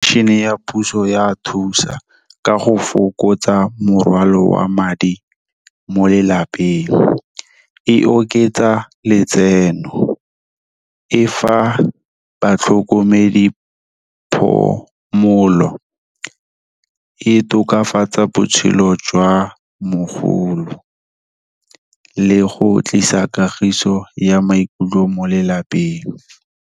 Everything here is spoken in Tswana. Fashion-e ya puso ya thusa, ka go fokotsa morwalo wa madi mo lelapeng, e oketsa letseno. E fa batlhokomedi phomolo, e tokafatsa botshelo jwa mogolo, le go tlisa kagiso ya maikutlo mo lelapeng.